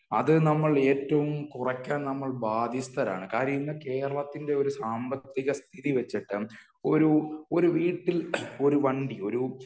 അത് നമ്മൾ ഏറ്റവും കുറയ്ക്കാൻ നമ്മൾ ബാധ്യസ്ഥരാണ് . കാര്യം ഇന്നു കേരളത്തിന്റെ ഒരു സാമ്പത്തിക സ്ഥിതി വച്ചിട്ട് ഒരു ഒരു വീട്ടില് ഒരു വണ്ടി ഒരു